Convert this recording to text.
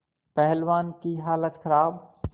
पहलवान की हालत खराब